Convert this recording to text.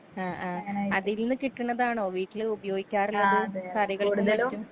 ആ ആ അതിൽന്ന് കിട്ട്ണതാണോ വീട്ടില് ഉപയോഗിക്കാറുള്ളത് കറികൾക്കും മറ്റും.